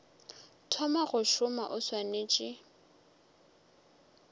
thoma go šoma o swanetše